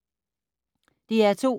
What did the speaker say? DR2